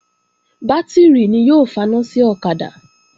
Bátìrì ni yóò faná sí ọ̀kadà